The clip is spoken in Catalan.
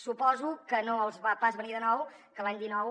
suposo que no els va pas venir de nou que l’any dinou